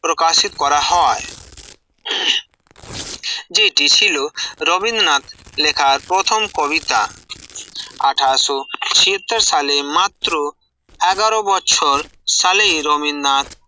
প্রকাশিত করা হয় যেটি ছিল রবীন্দ্রনাথ লেখা প্রথম কবিতা আঠাশ ও চীয়ত্তর সালে মাত্র এগারো বছর সালেই রবীন্দ্রনাথ